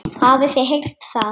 Hafið þið heyrt það?